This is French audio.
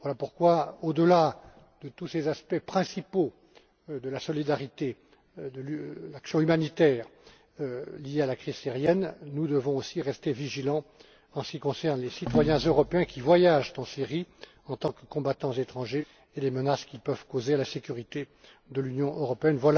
Voilà pourquoi, au delà de tous ces aspects principaux de la solidarité et de l'action humanitaire liés à la crise syrienne, nous devons aussi rester vigilants en ce qui concerne les citoyens européens qui voyagent en Syrie en tant que combattants étrangers et les menaces qu'ils peuvent contribuer pour la sécurité de l'Union européenne.